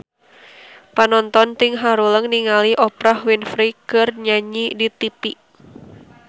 Panonton ting haruleng ningali Oprah Winfrey keur nyanyi di tipi